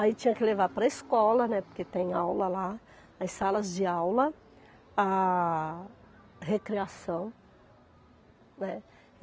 Aí tinha que levar para a escola, né, porque tem aula lá, as salas de aula, a recreação, né.